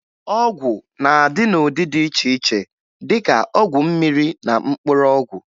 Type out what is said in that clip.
Ọgwụ na-adị n'ụdị dị iche iche dịka ọgwụ mmiri na mkpụrụ ọgwụ